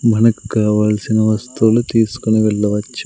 మనకు కావాల్సిన వస్తువులు తీసుకుని వెళ్ళవచ్చు.